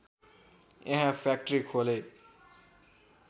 यहाँ फ्याक्ट्री खोले